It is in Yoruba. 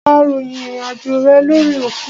Ó ròyìn ìrìn àjò rẹ lórí òkun.